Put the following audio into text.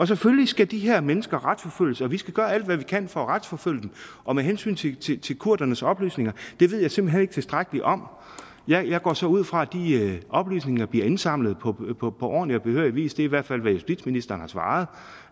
selvfølgelig skal de her mennesker retsforfølges og vi skal gøre alt hvad vi kan for at retsforfølge dem og med hensyn til kurdernes oplysninger det ved jeg simpelt hen ikke tilstrækkeligt om jeg går så ud fra at de her oplysninger bliver indsamlet på ordentlig og behørig vis det er i hvert fald hvad justitsministeren har svaret